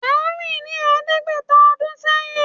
A rí i ní ẹ̀ẹ́dẹ́gbẹ̀ta ọdún sẹ́yìn